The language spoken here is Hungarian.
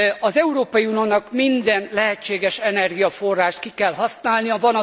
Az Európai Uniónak minden lehetséges energiaforrást ki kell használnia.